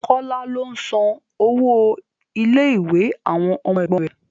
Kọ́lá ló ń san owó ilé ìwé àwọn ọmọ ẹ̀gbọ́n rẹ̀